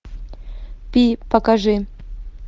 пи покажи